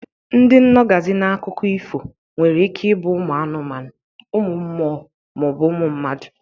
Ndị nọgazi n'akụkọ ifo nwere ike ibụ uMụ anụmanụ, uMụ mMụo ma ọ bụ uMụ mmadu.